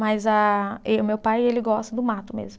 Mas a e o meu pai, ele gosta do mato mesmo.